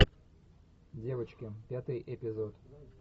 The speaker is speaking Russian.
девочки пятый эпизод